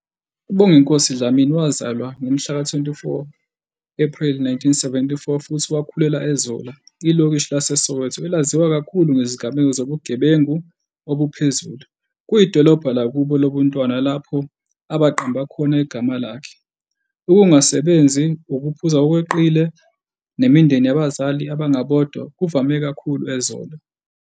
UBonginkosi Dlamini wazalwa ngomhlaka-24 Ephreli 1974 futhi wakhulela eZola, ilokishi laseSoweto, elaziwa kakhulu ngezigameko zobugebengu obuphezulu. Kuyidolobha lakubo lobuntwana lapho aqamba khona igama lakhe. Ukungasebenzi, ukuphuza ngokweqile, nemindeni yabazali abangabodwa kuvame kakhulu eZola.